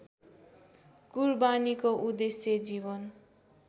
कुरबानीको उद्देश्य जीवन